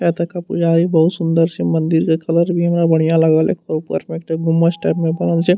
यातका पुजारी बहुत सुंदर छे मंदिर के कलर भी हमरा बढ़िया लागेल एक आर ऊपर में एकटा गुमअस टाइप में बनल छे।